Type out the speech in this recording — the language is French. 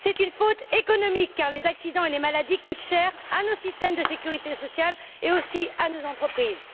C'est une faute économique car les accidents et les maladies coûtent cher à nos systèmes de sécurité sociale et aussi à nos entreprises.